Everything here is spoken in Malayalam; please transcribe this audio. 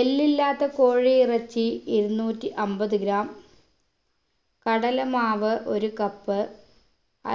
എല്ലില്ലാത്ത കോഴി ഇറച്ചി എണ്ണൂറ്റി അമ്പത് gram കടല മാവ് ഒരു cup